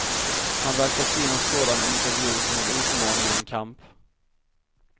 Han verkar se en sådan intervju som en utmaning och en kamp.